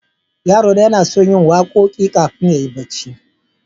Yarona yana son yin waƙoƙi ƙafin yayi barci.